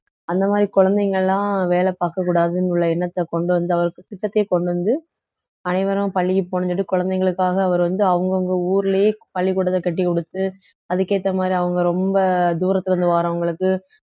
அந்த மாதிரி குழந்தைங்க எல்லாம் வேலை பார்க்க கூடாதுன்னு உள்ள எண்ணத்தை கொண்டு வந்து திட்டத்தையே கொண்டு வந்து அனைவரும் பள்ளிக்கு போகணுன்னு சொல்லிட்டு குழந்தைகளுக்காக அவர் வந்து அவங்கவங்க ஊர்லயே பள்ளிக்கூடத்தை கட்டிக் கொடுத்து அதுக்கு ஏத்த மாதிரி அவங்க ரொம்ப தூரத்துல இருந்து வர்றவங்களுக்கு